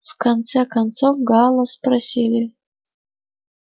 в конце концов гаала спросили